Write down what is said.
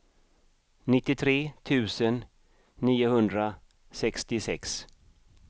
nittiotre tusen niohundrasextiosex